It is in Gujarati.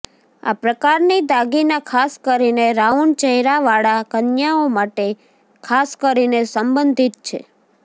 આ પ્રકારની દાગીના ખાસ કરીને રાઉન્ડ ચહેરાવાળા કન્યાઓ માટે ખાસ કરીને સંબંધિત છે